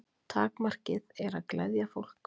Takmarkið er að gleðja fólk.